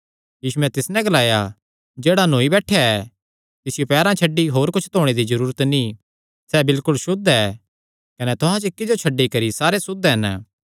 यीशुयैं तिस नैं ग्लाया जेह्ड़ा नौई बैठेया ऐ तिसियो पैरां छड्डी होर कुच्छ धोणे दी जरूरत नीं सैह़ बिलकुल सुद्ध ऐ कने तुहां च इक्की जो छड्डी करी सारे सुद्ध हन